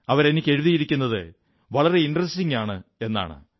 അവരെനിക്കെഴുതിയിരിക്കുന്നത് വളരെ താൽപര്യജനകമാണെന്നാണ്